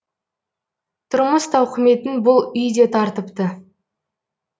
тұрмыс тауқыметін бұл үй де тартыпты